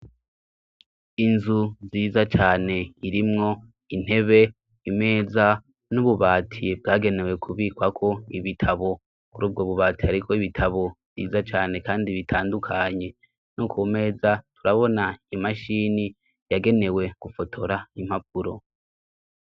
Inzu ziza cane irimwo intebe imeza n'ububatiye bwagenewe kubikwako ibitabo uri ubwo bubatiye, ariko ibitabo vyiza cane, kandi bitandukanye nu ku meza turabona imashini yagenewe gufotora impapuro.